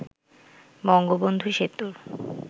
বঙ্গবন্ধু সেতুর